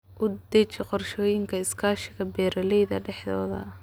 U deji qorshooyinka iskaashiga beeralayda dhexdooda.